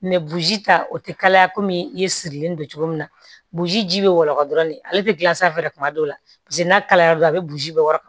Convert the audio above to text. burusi ta o tɛ kalaya komi i ye sirilen don cogo min na burusi bɛ wɔlɔkɔ dɔrɔn de ale tɛ gilan sanfɛ dɛ tuma dɔw la paseke n'a kalayara dɔrɔn a bɛ burusi bɛ wɔrɔ